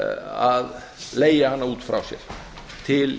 að leigja hana út frá sér til